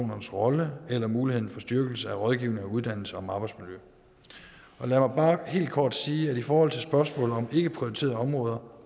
rolle eller muligheden for styrkelse af rådgivning og uddannelse om arbejdsmiljø lad mig bare helt kort sige at i forhold til spørgsmålet om ikkeprioriterede områder